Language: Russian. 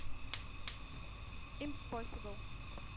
импосибл